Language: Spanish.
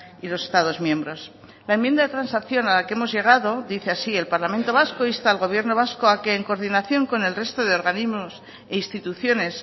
y los estados miembros la enmienda de transacción a la que hemos llegado dice así el parlamento vasco insta al gobierno vasco a que en coordinación con el resto de organismos e instituciones